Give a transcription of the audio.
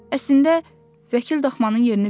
Əslində vəkil daxmanın yerini bilirdi.